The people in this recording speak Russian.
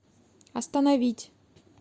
остановить